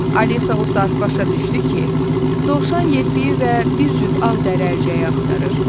Alisa o saat başa düşdü ki, dovşan yelpiki və bir cüt ağ dəri əlcəyi axtarır.